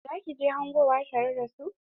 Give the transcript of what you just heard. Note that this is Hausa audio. Za ki je hangowa tare da su?